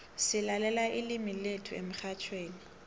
silalela ilimu lethu emxhatjhweni